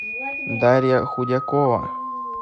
дарья худякова